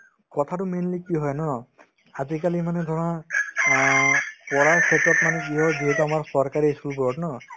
কথাতো mainly কি হয় ন আজিকালি মানে ধৰা অ পঢ়াৰ ক্ষেত্ৰত মানে কি হয় যিহেতু আমাৰ চৰকাৰী ই school বোৰত ন